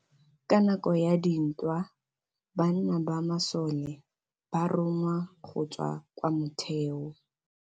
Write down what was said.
Ka nakô ya dintwa banna ba masole ba rongwa go tswa kwa mothêô.